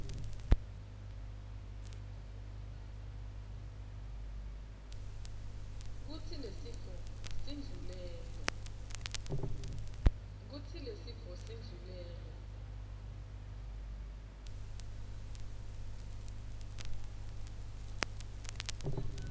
kutsi lesifo sindlulele